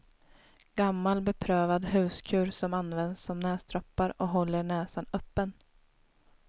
Gammal beprövad huskur som används som näsdroppar och håller näsan öppen.